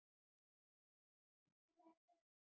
Segist hann ekki hafa áhuga?